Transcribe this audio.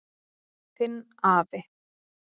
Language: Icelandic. Þinn afi.